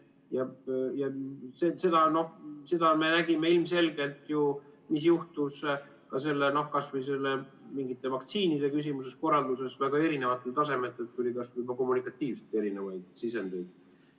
Seda me nägime ilmselgelt, mis juhtus vaktsiinide küsimuses ja korralduses, kui tuli väga erineva tasemega kommunikatiivselt erinevaid sisendeid.